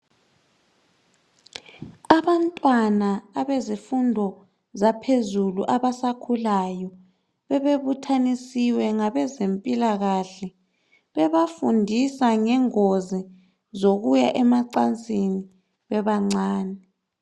Abantwana abezifundo zaphezulu abasakhulayo bebe buthanisiwe ngabezempilakahle bebafundisa ngengozi zokuya emacansini bebancane.